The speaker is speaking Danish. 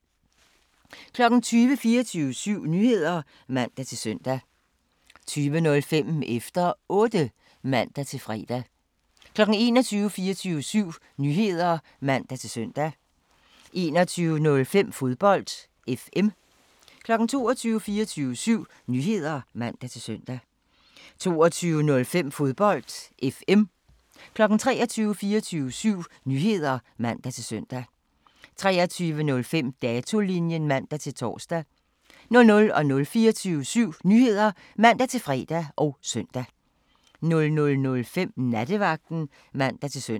20:00: 24syv Nyheder (man-søn) 20:05: Efter Otte (man-fre) 21:00: 24syv Nyheder (man-søn) 21:05: Fodbold FM 22:00: 24syv Nyheder (man-søn) 22:05: Fodbold FM 23:00: 24syv Nyheder (man-søn) 23:05: Datolinjen (man-tor) 00:00: 24syv Nyheder (man-fre og søn) 00:05: Nattevagten (man-søn)